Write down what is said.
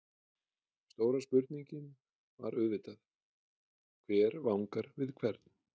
Stóra spurningin var auðvitað: Hver vangar við hvern?